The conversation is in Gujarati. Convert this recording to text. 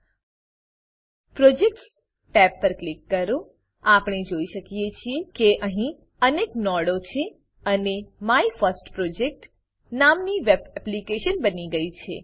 પ્રોજેક્ટ્સ પ્રોજેક્ટ્સ ટેબ પર ક્લિક કરો આપણે જોઈ શકીએ છીએ કે અહીં અનેક નોડો છે અને my first project my first project નામની વેબ એપ્લીકેશન બની ગઈ છે